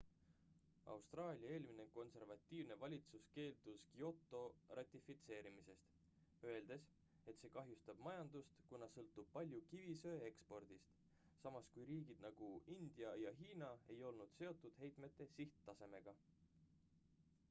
austraalia eelmine konservatiivne valitsus keeldus kyoto ratifitseerimisest öeldes et see kahjustab majandust kuna sõltub palju kivisöe ekspordist samas kui riigid nagu india ja hiina ei olnud seotud heitme sihttasemega